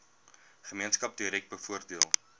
gemeenskap direk bevoordeel